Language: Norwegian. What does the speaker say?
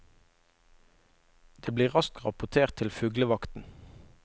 Det blir raskt rapportert til fuglevakten.